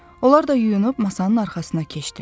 Onlar da yuyunub masanın arxasına keçdilər.